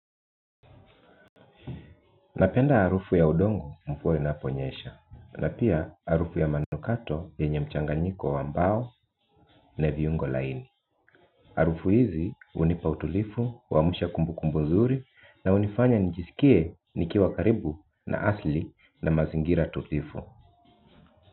Napenda harufu ya udongo mvua inaponyesha na pia harufu ya manukato yenye mchanganyiko wa mbao na viungo laini. Harufu hizi hunipa utulivu, huamsha kumbukumbu nzuri na hunifanya njisikie nikiwa karibu na asili na mazingira tulivu.